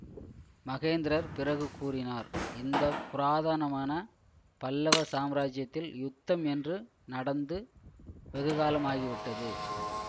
மகேந்திரர் பிறகு கூறினார் இந்த புராதனமான பல்லவ சாம்ராஜ்யத்தில் யுத்தம் என்று நடந்து வெகுகாலம் ஆகிவிட்டது